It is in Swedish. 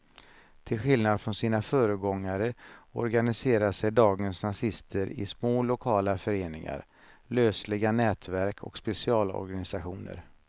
Till skillnad från sina föregångare organiserar sig dagens nazister i små lokala föreningar, lösliga nätverk och specialorganisationer.